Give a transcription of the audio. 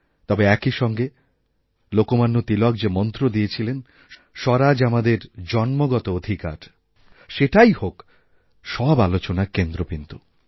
তবে একইসঙ্গে লোকমান্য তিলক যে মন্ত্রদিয়েছিলেন স্বরাজ আমাদের জন্মসিদ্ধ অধিকার সেটাই হোক সব আলোচনার কেন্দ্রবিন্দু